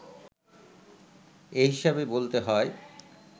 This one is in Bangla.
এ হিসেবে বলতে হয়,